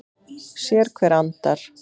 Sérhver andar